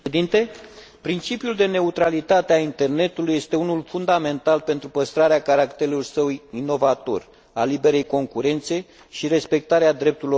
Principiul de neutralitate a internetului este unul fundamental pentru păstrarea caracterului său inovator, a liberei concurențe și respectarea drepturilor omului.